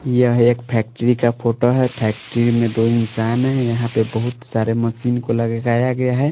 यह एक फैक्ट्री का फोटो है फैक्ट्री में दो इंसान हैं यहाँ पे बहुत सारे मशीन को लगाया गया है।